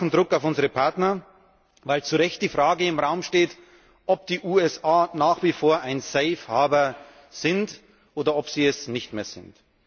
Wir brauchen Druck auf unsere Partner, weil zu Recht die Frage im Raum steht, ob die USA nach wie vor ein safe harbour sind oder ob sie es nicht mehr sind.